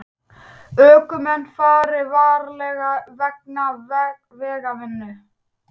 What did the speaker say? Ökumenn fari varlega vegna vegavinnu